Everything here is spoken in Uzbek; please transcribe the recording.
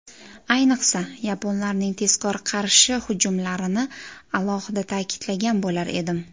Ayniqsa, yaponlarning tezkor qarshi hujumlarini alohida ta’kidlagan bo‘lar edim.